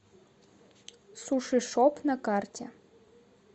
сушишоп на карте